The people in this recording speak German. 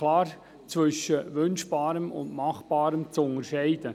Das Wünschbare ist klar vom Machbaren zu trennen.